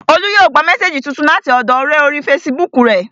Olú yóò gba mésèjì tuntun láti ọ̀dọọ ọ̀rẹ́ orí fesibúùkù rẹ̀